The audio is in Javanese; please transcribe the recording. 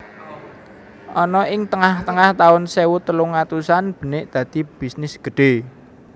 Ana ing tengah tengah taun sewu telung atusan benik dadi bisnis gedhe